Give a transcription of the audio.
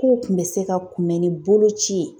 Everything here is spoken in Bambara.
K'o kun bɛ se ka kunbɛn ni boloci ye.